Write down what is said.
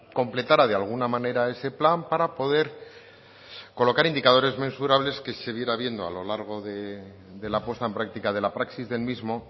completara de alguna manera ese plan para poder colocar indicadores mensurables que se viera viendo a lo largo de la puesta en práctica de la praxis del mismo